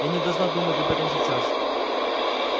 я не должна думать об этом сейчас